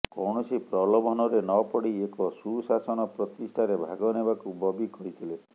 କୌଣସି ପ୍ରଲୋଭନରେ ନ ପଡି ଏକ ସୁଶାସନ ପ୍ରତିଷ୍ଠାରେ ଭାଗ ନେବାକୁ ବବି କହିଥିଲେ